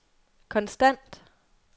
konstant